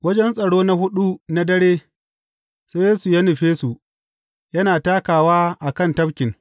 Wajen tsaro na huɗu na dare, sai Yesu ya nufe su, yana takawa a kan tafkin.